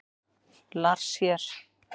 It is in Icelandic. Lars hér!